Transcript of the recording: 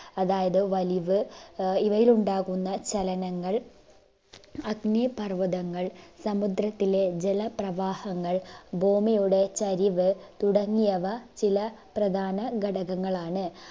അതായത് വലിവ്, ആഹ് ഇവയിലുണ്ടാകുന്ന ചലനങ്ങൾ അഗ്‌നിപർവ്വതങ്ങൾ സമുദ്രത്തിലെ ജലപ്രവാഹങ്ങൾ ഭൂമിയുടെ ചരിവ് തുടങ്ങിയവ ചില പ്രധാനഘടകങ്ങളാണ്